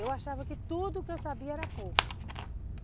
Eu achava que tudo que eu sabia era pouco.